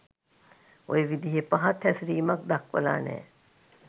ඔය විදිහෙ පහත් හැසිරීමක් දක්වලා නෑ.